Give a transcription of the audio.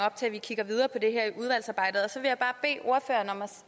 til at vi kigger videre på det her i udvalgsarbejdet